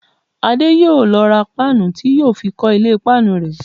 Adé yóò lọ ra páànù tí yóò fi kọ́ ilé páànù rẹ̀